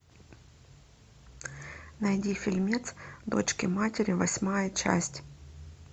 найди фильмец дочки матери восьмая часть